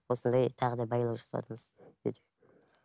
осындай тағы да байлау жасаватырмыз